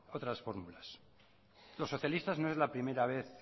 otras fórmulas los socialistas no es la primera vez